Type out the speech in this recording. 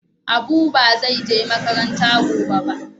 Abu ba zai je makaranta gobe ba.